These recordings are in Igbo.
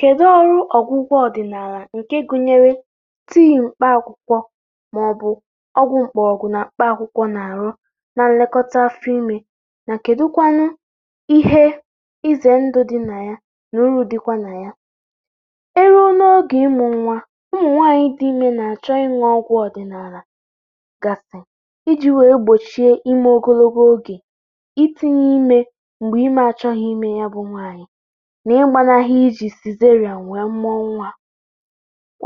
Kedụ ọrụ ọgwụgwọ ọdịnala nke gụnyere tii mkpa akwụkwọ ma ọ bụ ọgwụ mgbọrọgwụ mkpa akwụkwọ na-arụ na nlekọta afọ ime, na kedu kwanụ ihe ize ndụ dị na ya, na uru dịkwa na ya? E ruo n’oge ịmụ nwa, ụmụ nwanyị dị imė na-achọ ịṅụ ọgwụ̇ ọdịnala gasị, iji̇ wee gbochie ime ogologo oge itinye ime mgbe ime achọghị ime ya bụ nwanyị na ịgbanahụ iji sizerian wee mụo nwa.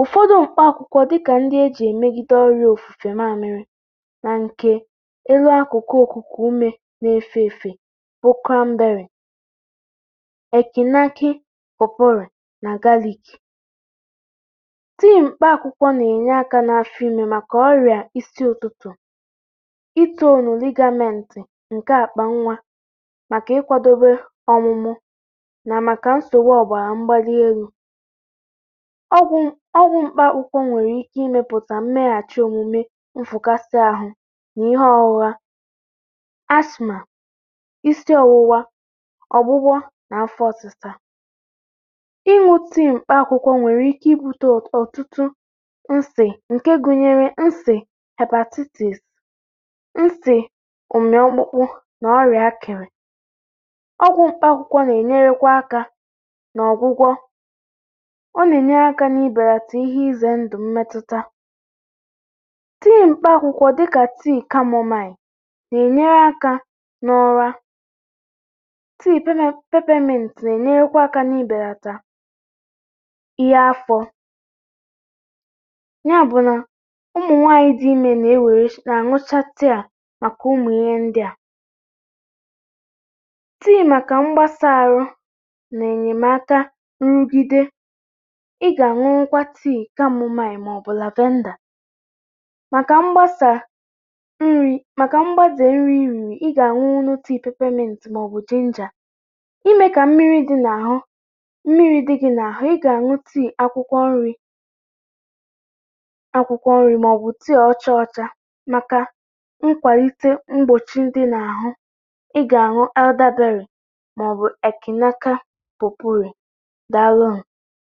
Ụfọdụ mkpa akwụkwọ dịka ndị e ji emegide nri̇ ofufe mamịrị̇ na nke elu akụkụ okuku ume na-efe efe bụ cranberry eki nakị pawpaw rì na galik. Tii mkpa akwụkwọ na-enye aka n’afọ ime maka ọrịa isi ụtụtụ, itonu ligamentị nke akpa nwa maka ikwadebe ọmụmụ, na maka nsogbu obara mgbali elu. Ọgwụ m ọgwụ mkpakwụkwọ nwere ike imepụta mmeghachi omume, nfụkasịahụ na ihe ọghụgha, ashma, isi owuwa, ọgbụgbọ na afọ ọsịsa. ịṅụ tii mkpa akwukwọ nwere ike ibute ọtụtụ nsị nke gụnyere nsị hepatitis nsị ụmị ọkpụkpụ na ọrịa akịrị. Ọgwụ mkpa akwụkwọ na-enyere kwa aka n’ọgwụgwọ, ọ na-enyere kwa aka n’ibelata ihe ize ndụ mmetuta. Tii mkpa akwụkwọ dịka tii kamomain na-enyere aka n’ụra. Tii pepe pepeminti na-enyerekwa aka n’ibelata ihe afọ. Ya bụ na ụmụ̀nwàànyị dị imė na-ewere na-aṅụcha tii a maka ụmụ ihe ndị a. Tii maka mgbasa ahụ na enyemaka nrụgide, ị ga-aṅụnwụ kwa tii kamụmain ma ọ bụ lavenda maka mgbasa nri maka mgbaze nri ị riri, ị ga-aṅụnwụli tii pepeminti ma ọ bụ jinja. Ime ka mmiri dị n’ahụ mmiri dị gị n’ahụ, ị ga-aṅụ tii akwụkwọ nri̇ akwụkwọ nri ma ọ bụ tii ọcha ọcha maka nkwalite mgbochi ndị n’ahụ, ị ga-aṅụ elderberry, ma ọ bụ ekinaka poporum. Dalụnụ